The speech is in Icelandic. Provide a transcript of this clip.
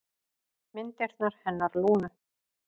Myndirnar hennar Lúnu.